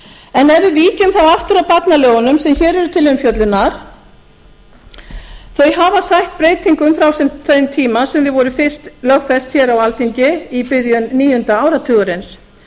við víkjum þá aftur að barnalögunum sem hér eru til umfjöllunar hafa þau sætt breytingum frá þeim tíma sem þau voru fyrst lögfest hér á alþingi í byrjun níunda áratugarins